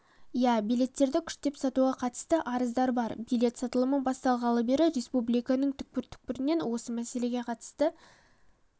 иә билеттерді күштеп сатуға қатысты арыздар бар билет сатылымы басталғалы бері республиканың түкпір-түкпірінен осы мәселеге қатысты